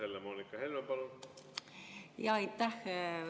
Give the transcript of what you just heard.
Helle-Moonika Helme, palun!